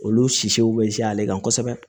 Olu sisiw bɛ caya ale kan kosɛbɛ